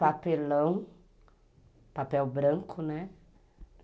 Papelão, papel branco, né?